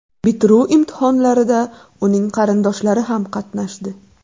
Bitiruv imtihonlarida uning qarindoshlari ham qatnashdi.